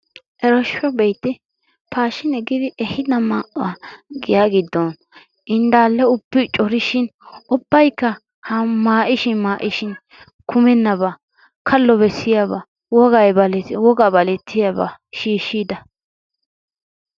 Ereooshsho be'ite! paashshine giidi ehhido maayuwaa giyaa giddon indaalle ubbi corishiin ubbaykka maayishin maayishin kummenabaa kallo bessiyaaba wogaa balettiyaa wogaa balettiyaaba shiishida.